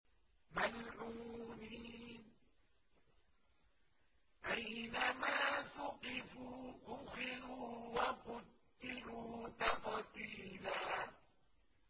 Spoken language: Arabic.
مَّلْعُونِينَ ۖ أَيْنَمَا ثُقِفُوا أُخِذُوا وَقُتِّلُوا تَقْتِيلًا